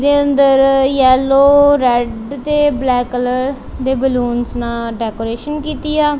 ਦੇ ਅੰਦਰ yellow red ਤੇ ਬਲੈਕ ਕਲਰ ਦੇ ਬੈਲੂੰਨਸ ਨਾਲ ਡੈਕੋਰੇਸ਼ਨ ਕੀਤੀ ਆ।